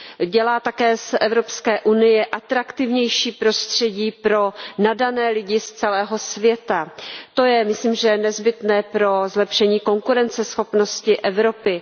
Dělají také z Evropské unie atraktivnější prostředí pro nadané lidi z celého světa. To je, myslím, nezbytné pro zlepšení konkurenceschopnosti Evropy.